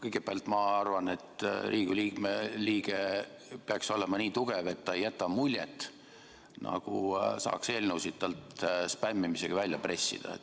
Kõigepealt ma arvan, et Riigikogu liige peaks olema nii tugev, et ta ei jäta muljet, nagu saaks eelnõude heakskiitu talt spämmimisega välja pressida.